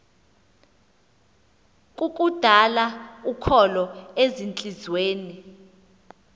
kukudala ukholo ezintliziyweni